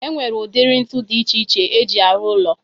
E nwere udiri ntụ dị iche iche e ji arụ ụlọ